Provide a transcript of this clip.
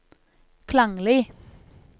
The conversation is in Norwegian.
klanglig